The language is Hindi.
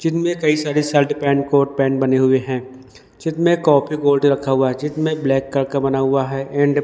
जिनमें कई सारे शर्ट पैंट कोर्ट पैंट बने हुए हैं जिनमें काफी गोल्ड रखा हुआ है जिनमें ब्लैक कलर का बना हुआ है एंड --